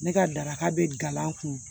Ne ka daraka bɛ gala n kun